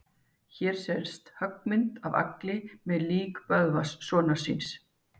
Hér sést höggmynd af Agli með lík Böðvars sonar síns.